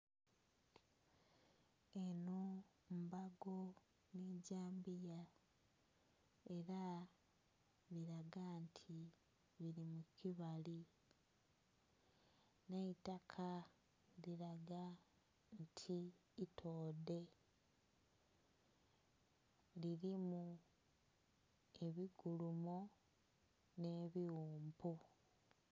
Eno mbago nigyamboya era biraga nti biri mukibali naitaka liraga nti itodhe lirimu ebikulumo n'ebiwumpu.